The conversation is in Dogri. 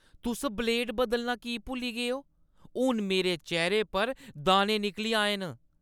तुस ब्लेड बदलना की भुल्ली गे ओ? हून मेरे चेह्‌रे पर दाने निकली आए न!